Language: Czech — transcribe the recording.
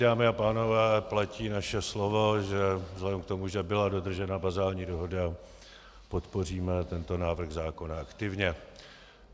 Dámy a pánové, platí naše slovo, že vzhledem k tomu, že byla dodržena bazální dohoda, podpoříme tento návrh zákona aktivně.